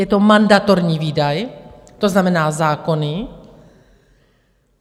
Je to mandatorní výdaj, to znamená zákonný.